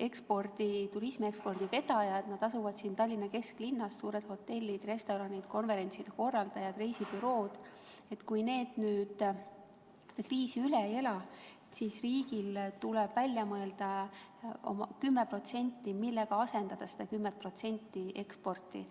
turismiekspordi vedajad, nad asuvad siin Tallinna kesklinnas – suured hotellid, restoranid, konverentsikeskused, reisibürood –, seda kriisi üle ei ela, tuleb riigil välja mõelda, millega asendada see 10% eksporti.